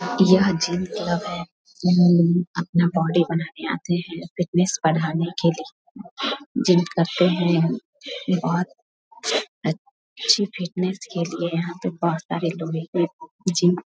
यह gym club है यहाँ लोग अपना बॉडी बनाने आते है फिटनेस बढ़ाने के लिए जिम करते है ये बोहत अच्छी फिटनेस के लिए यहाँ पे बोहत सारे लोग एक-एक जिम --